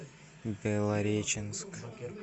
белореченск